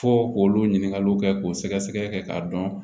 Fo k'olu ɲininkaliw kɛ k'o sɛgɛsɛgɛ k'a dɔn